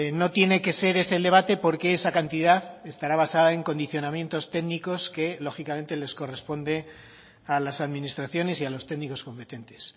no tiene que ser ese el debate porque esa cantidad estará basada en condicionamientos técnicos que lógicamente les corresponde a las administraciones y a los técnicos competentes